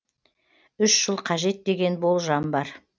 үш жыл қажет деген болжам бар